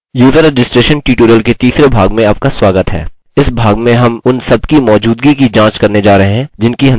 user registration tutorial के तीसरे भाग में आपका स्वागत है इस भाग में हम उन सब की मौजूदगी की जाँच करने जा रहे हैं जिनकी हमने पिछले भाग में चर्चा की थी